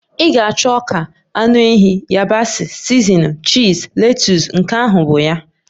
Ị ga-achọ ọka, anụ ehi, yabasị, sizinin, chiz, letus, nke ahụ bụ ya.